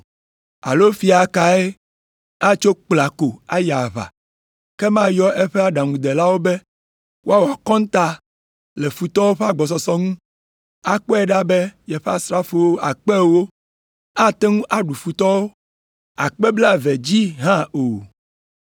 “Alo fia kae atso kpla ko ayi aʋa, ke mayɔ eƒe aɖaŋudelawo be woawɔ akɔnta le futɔwo ƒe agbɔsɔsɔ ŋu, akpɔe ɖa be yeƒe asrafo akpe ewo ate ŋu aɖu futɔwo tɔ akpe blaeve dzi hã o?